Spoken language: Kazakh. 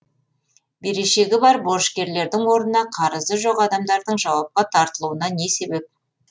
берешегі бар борышкерлердің орнына қарызы жоқ адамдардың жауапқа тартылуына не себеп